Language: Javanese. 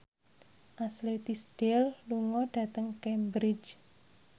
Ashley Tisdale lunga dhateng Cambridge